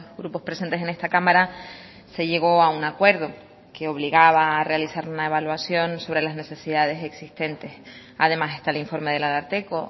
grupos presentes en esta cámara se llegó a un acuerdo que obligaba a realizar una evaluación sobre las necesidades existentes además está el informe del ararteko